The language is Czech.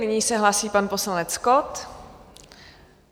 Nyní se hlásí pan poslanec Kott.